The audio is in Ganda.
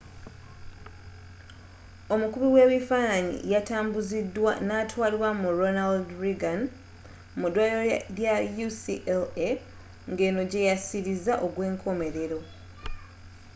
omukubi webifaananyi yatambuzidwa natwalibwa mu ronald reagan mu dwaliro lya ucla ngeno gyeyasiriza ogwenkomerero